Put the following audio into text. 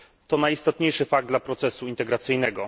To najistotniejszy fakt dla procesu integracyjnego.